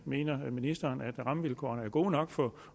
mener ministeren at rammevilkårene er gode nok for